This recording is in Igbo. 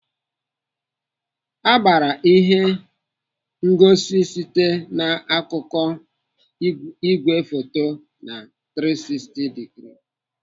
Agbara ihe ngosi site na akụkụ igwefoto na 360 digrii.